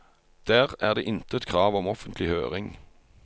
Der er det intet krav om offentlig høring.